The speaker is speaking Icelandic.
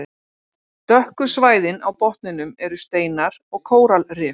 Dökku svæðin á botninum eru steinar og kóralrif.